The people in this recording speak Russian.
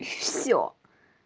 и всё